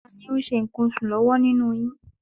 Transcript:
Tani ó ń ṣe nǹkan oṣù lọ́wọ́ nínú yín?